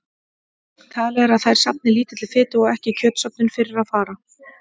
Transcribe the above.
Talið er að þær safni lítilli fitu og ekki er kjötsöfnun fyrir að fara.